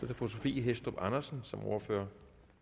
det fru sophie hæstorp andersen som ordfører